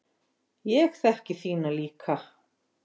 Ég þekki þína líka.